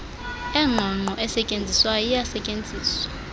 engqongqo esetyenziswayo iyasetyenziswa